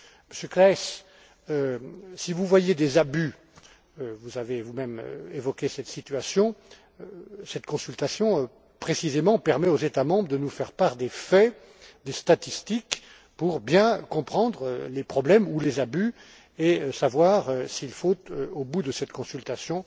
Monsieur Claeys, si vous voyez des abus vous avez vous même évoqué cette situation cette consultation permet précisément aux États membres de nous faire part des faits, des statistiques pour bien comprendre les problèmes ou les abus et savoir s'il faut, au bout de cette consultation,